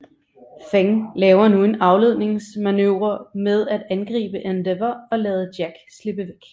Feng laver nu en afledningsmanøvre med at angribe Endeavor og lade Jack slippe væk